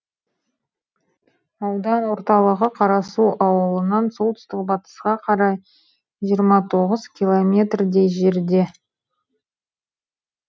аудан орталығы қарасу ауылынан солтүстік батысқа қарай жиырма тоғыз километрдей жерде